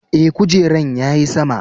Eh, kujeran ya yi sama.